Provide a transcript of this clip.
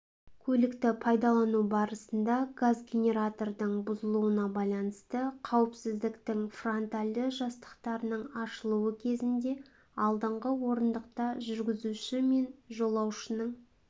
көлікті пайдалану барысында газгенератордың бұзылуына байланысты қауіпсіздіктің фронтальді жастықтарының ашылуы кезінде алдыңғы орындықта жүргізуші мен жолаушының